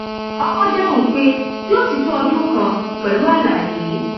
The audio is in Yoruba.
ọkọ dáhùn pé yóò ti tó ọdún kan pẹlú àlàyé